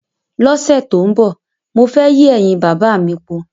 Lósè tó n bò, mo fé yí èyìn bàbá mi po.